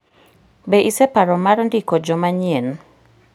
Be iseparo mar ndiko jo manyien?